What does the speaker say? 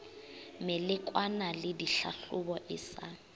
melekwana le ditlhahlobo e sa